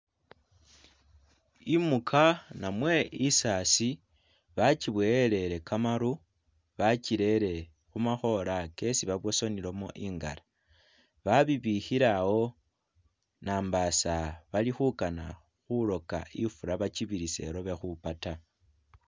Imuka namwe isasi bakiboyelele kamaru bakirere khumakhola kesi babusanilamo ingara babibikhile awo nambasa bali khukana khuloka ifula bakibirisa ilobe ikhupa ta